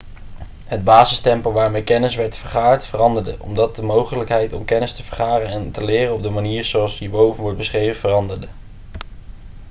het basistempo waarmee kennis werd vergaard veranderde omdat de mogelijkheid om kennis te vergaren en te leren op de manier zoals hierboven wordt beschreven veranderde